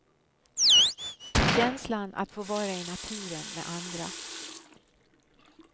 Känslan att få vara i naturen med andra.